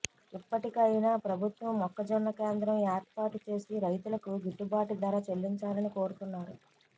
ఇప్పటికైనా ప్రభుత్వం మొక్కజొన్న కేంద్రం ఏర్పాటుచేసి రైతులకు గిట్టుబాటు ధర చెల్లించాలని కోరుతున్నారు